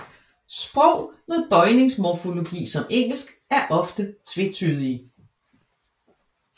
Sprog med bøjningsmorfologi som Engelsk er ofte tvetydige